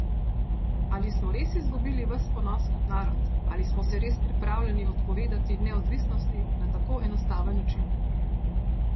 Ali smo res izgubili ves ponos kot narod, ali smo se res pripravljeni odpovedati neodvisnosti na tako enostaven način?